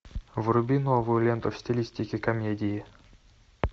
вруби новую ленту в стилистике комедии